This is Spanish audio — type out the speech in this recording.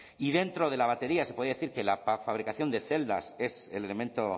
y dentro de la batería se podía decir que la fabricación de celdas es el elemento